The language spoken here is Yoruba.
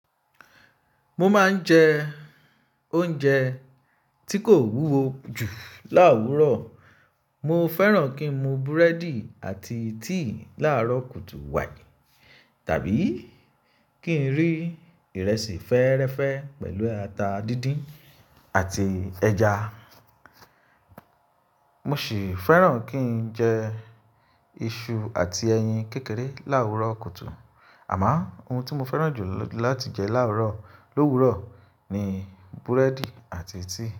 Mo máa ń jẹ oúnjẹ tí kò wúwo jù láwúrọ̀. Mo fẹ́ràn kí n mu breadi àti tea láàrọ̀ kùtù wáì tàbí kí n rí ìrẹsì fẹ́ẹ́rẹ́fẹ́ pẹ̀lú ata díndín àti ẹja. Mo sì fẹ́ràn kí n jẹ iṣu àti ẹyin kékeré láwúrọ̀ kùtù. Àmọ́ ohun tí mo fẹ́ràn jù láti jẹ láwúrọ̀ lówúrọ̀ ni búrẹ́dì àti tea.